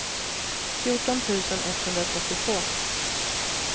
fjorton tusen etthundratrettiotvå